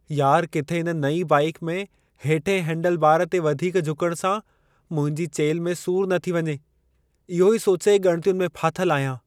यार! किथे इन नईं बाइक में हेठियें हैंडलबार ते वधीक झुकण सां मुंहिंजी चेल्हि में सूर न थी वञे। इहो ई सोचे ॻणितियुनि में फाथलु आहियां।